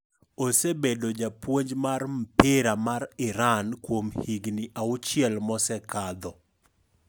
Osebedo japuonj mar mpira mar Iran kuom higni auchiel mosekadho.